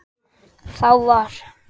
Þá var